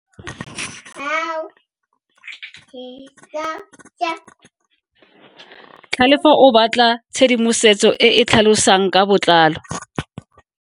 Tlhalefo o batla tshedimosetso e e tlhalosang ka botlalo.